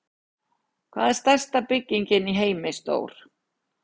Hvað er stærsta bygging í heimi stór?